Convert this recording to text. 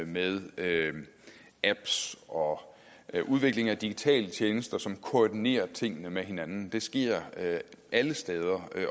med apps og udvikling af digitale tjenester som koordinerer tingene med hinanden det sker alle steder